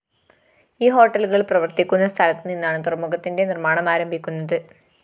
ഈ ഹോട്ടലുകള്‍ പ്രവര്‍ത്തിക്കുന്ന സ്ഥലത്തുനിന്നാണ് തുറമുഖത്തിന്റെ നിര്‍മാണം ആരംഭിക്കുന്നത്